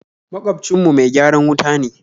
Magwabcin mu mai gyaran wuta ne